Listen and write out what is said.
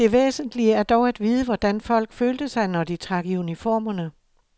Det væsentlige er dog at vide, hvordan folk følte sig, når de trak i uniformerne.